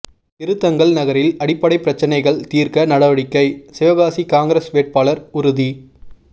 திருத்தங்கல் நகரில் அடிப்படை பிரச்னைகள் தீர்க்க நடவடிக்கை சிவகாசி காங்கிரஸ் வேட்பாளர் உறுதி